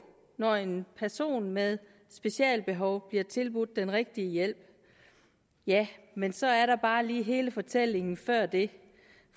når en person med specialbehov bliver tilbudt den rigtige hjælp ja men så er der bare lige hele fortællingen før det